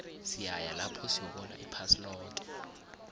siyaya lapho siyobona iphasi loke